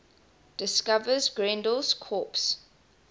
discovers grendel's corpse